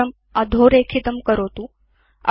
अक्षरम् अधोरेखितं करोतु